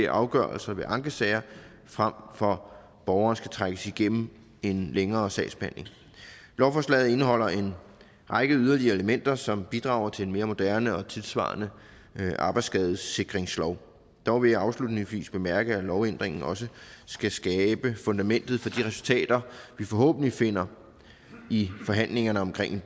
afgørelser ved ankesager frem for at borgerne skal trækkes igennem en længere sagsbehandling lovforslaget indeholder en række yderligere elementer som bidrager til en mere moderne og tidssvarende arbejdsskadesikringslov dog vil jeg afslutningsvis bemærke at lovændringen også skal skabe fundamentet for de resultater vi forhåbentlig finder i forhandlingerne omkring